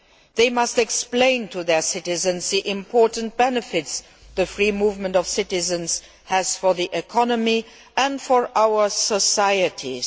They must explain to their citizens the important benefits the free movement of citizens has for the economy and for our societies.